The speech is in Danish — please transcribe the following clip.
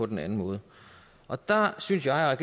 den anden måde og der synes jeg at